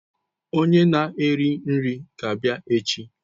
Onye na-eri nri ga-abịa echi